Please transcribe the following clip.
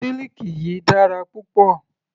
Siliki yìí dára púpọ̀.